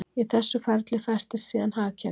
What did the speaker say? Í þessu ferli festist síðan hagkerfið.